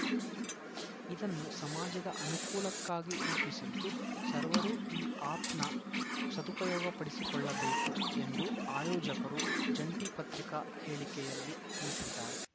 ಇದನ್ನು ಸಮಾಜದ ಅನುಕೂಲಕ್ಕಾಗಿ ರೂಪಿಸಿದ್ದು ಸರ್ವರು ಈ ಆಪ್‌ನ ಸದುಪಯೋಗಪಡಿಸಿಕೊಳ್ಳಬೇಕು ಎಂದು ಆಯೋಜಕರು ಜಂಟಿ ಪತ್ರಿಕಾ ಹೇಳಿಕೆಯಲ್ಲಿ ತಿಳಿಸಿದ್ದಾರೆ